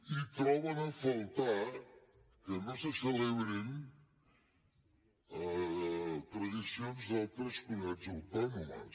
i troben a faltar que no se celebrin tradicions d’altres comunitats autònomes